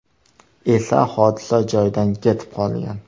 esa hodisa joyidan ketib qolgan.